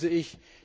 Das begrüße ich.